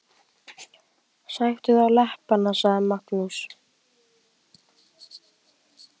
Sæktu þá leppana, sagði Magnús.